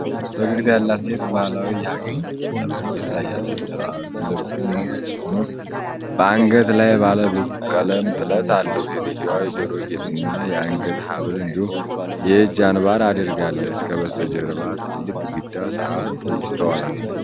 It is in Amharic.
ፈገግታ ያላት ሴት ባህላዊ የሀገር ልብስ ለብሳ ትታያለች። ልብሱ ነጭ ሆኖ በአንገትጌው ላይ ባለ ብዙ ቀለም ጥለት አለው። ሴትየዋ የጆሮ ጌጥና የአንገት ሐብል እንዲሁም የእጅ አንባር አድርጋለች። ከበስተጀርባ ትልቅ ግድግዳ ሰዓት ይስተዋላል።